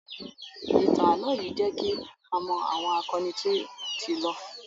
Ìtàn ààlọ́ yìí jẹ kí a mọ àwọn akọni tó ti lọ